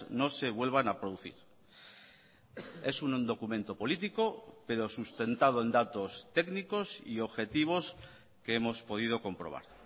no se vuelvan a producir es un documento político pero sustentado en datos técnicos y objetivos que hemos podido comprobar